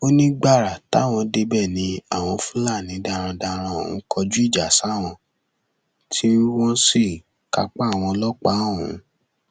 nígbà míì wọn máa fi ọkọ gbé èèyàn àmọ wọn máa gbé gègé kó má baà rè wọn